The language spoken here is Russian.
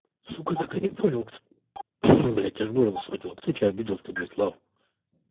сука так и не понял блядь аж горло схватило кто тебя обидел то блять слав